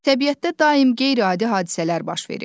Təbiətdə daim qeyri-adi hadisələr baş verir.